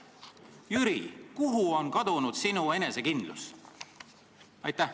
Jüri, kuhu on kadunud sinu enesekindlus?